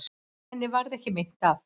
Henni varð ekki meint af.